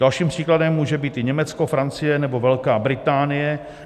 Dalším příkladem může být i Německo, Francie nebo Velká Británie.